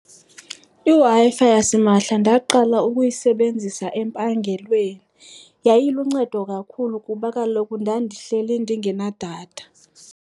IWi-Fi yasimahla ndaqala ukuyisebenzisa empangelweni. Yayiluncedo kakhulu kuba kaloku ndandihleli ndingena datha.